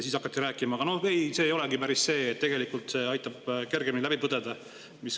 Siis hakati rääkima, et ei, see ei olegi päris see, see tegelikult aitab kergemini läbi põdeda.